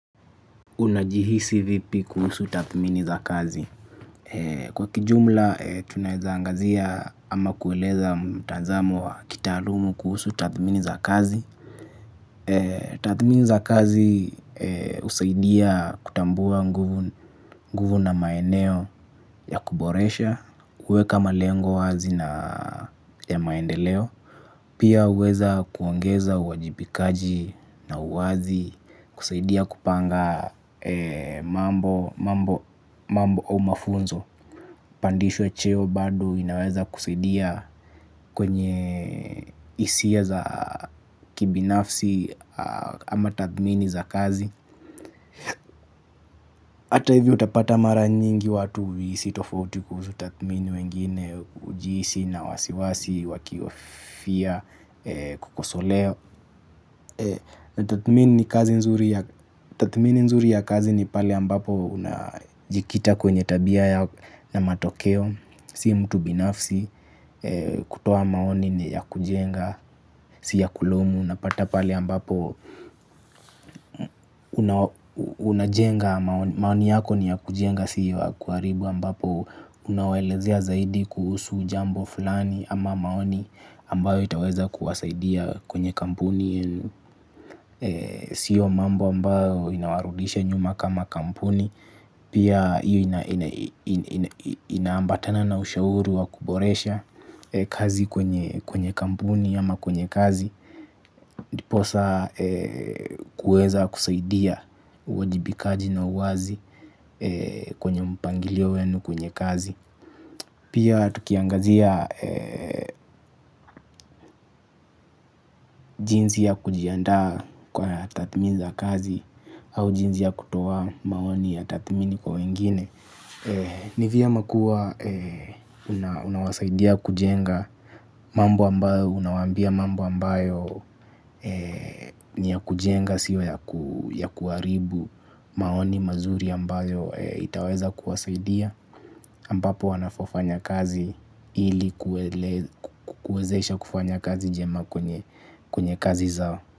Unajihisi vipi kuhusu tathmini za kazi. Kwa kijumla, tunaezangazia ama kueleza mtazamo wa kitaalumu kuhusu tathmini za kazi. Tathmini za kazi usaidia kutambua nguvu na maeneo ya kuboresha, kuweka malengo wazi na maendeleo. Pia uweza kuongeza uwajibikaji na uwazi kusaidia kupanga mambo au mafunzo. Pandishwe cheo bado inaweza kusaidia kwenye hisia za kibinafsi ama tathmini za kazi. Hata hivi utapata mara nyingi watu uhisi tofauti kuhusu tathmini wengine ujihisi na wasiwasi wakiofia kukosolewa. Tathmini nzuri ya kazi ni pale ambapo unajikita kwenye tabia na matokeo. Si mtu binafsi. Kutoa maoni ni ya kujenga. Si ya kulaomu. Unajenga maoni yako ni ya kujenga. Si ya kuaribu ambapo unawelezea zaidi kuhusu jambo fulani. Ama maoni ambayo itaweza kuwasaidia kwenye kampuni. Sio mambo ambayo inawarudisha nyuma kama kampuni. Pia iyo inaambatana na ushauri wa kuboresha kazi kwenye kampuni ama kwenye kazi. Ndiposa kuweza kusaidia uwajibikaji na uwazi kwenye mpangilio wenu kwenye kazi. Pia tukiangazia jinsi ya kujiandaa kwa tathimini za kazi au jinzi ya kutoa maoni ya tathmini kwa wengine ni vyema kuwa unawasaidia kujenga mambo ambayo unawambia mambo ambayo ni ya kujenga siyo ya kuharibu maoni mazuri ambayo itaweza kuwasaidia ambapo wanafaa fanya kazi ili kuwezesha kufanya kazi jema kwenye kazi zao.